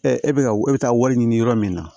e bɛ ka e bɛ taa wari ɲini yɔrɔ min na